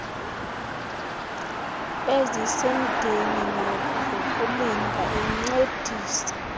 ezisemdeni zokulinda encedisa